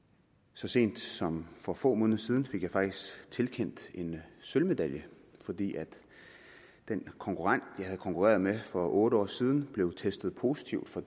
så sent som for få måneder siden fik jeg faktisk tilkendt en sølvmedalje fordi den konkurrent jeg havde konkurreret mod for otte år siden blev testet positiv for